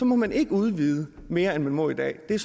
må man ikke udvide mere end man må i dag det er